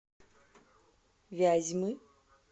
вязьмы